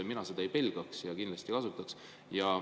Mina seda ei pelgaks ja kindlasti kasutaks.